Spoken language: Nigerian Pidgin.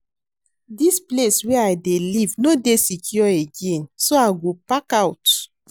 Dis place wey I dey live no dey secure again so I go park out